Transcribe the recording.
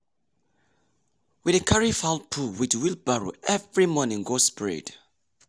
we dey carry fowl poo with wheelbarrow every morning go spread.